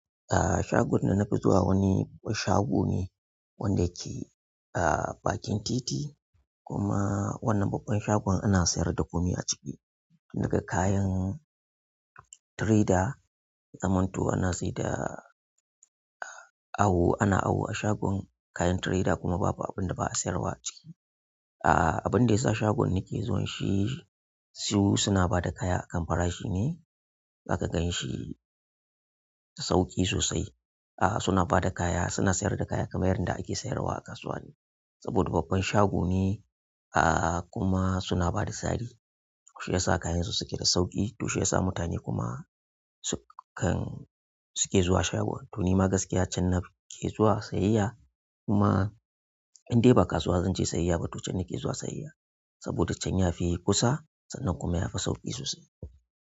A shagon da nafi zuwa wani shago ne wanda yake a bakin titi kuma wannan babban shagon ana sayar da komai a ciki daga kayan tireda, zamanto ana sayar da awo--ana awo a shagon kayan tireda kuma babu abun da ba a sayarwa a ciki. A'a abuin da ya sa shagon nake zuwan shi su suna ba da kaya a kan farashi ne za ka ganshi da sauƙi sosai. A'a suna ba da kaya suna sayar da kaya kamar yanda ake sayarwa a kasuwa ne saboda babban shago ne ah kuma suna ba da sari. To shiyasa kayansu suke da sauƙi to shiyasa mutane kuma su kan--suke zuwa shagon. To ni ma gaskiya can nake zuwa sayayya kuma indai ba kasuwa zan je sayayya ba to can nake zuwa sayayya saboda can yafi kusa sannan kuma yafi sauƙi sosai.